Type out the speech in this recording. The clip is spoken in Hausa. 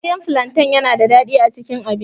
Soyayyan falanten yana da daɗi a cikin abinci.